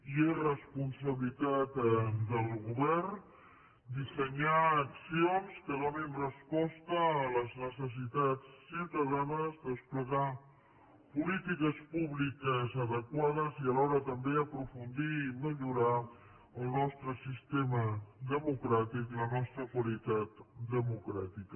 i és responsabilitat del govern dissenyar accions que donin resposta a les necessitats ciutadanes desplegar polítiques públiques adequades i alhora també aprofundir i millorar el nostre sistema democràtic la nostra qualitat democràtica